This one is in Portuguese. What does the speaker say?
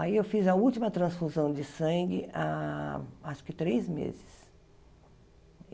Aí eu fiz a última transfusão de sangue há acho que três meses.